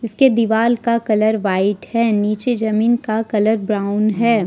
के दीवाल का कलर वाइट है नीचे जमीन का कलर ब्राउन है।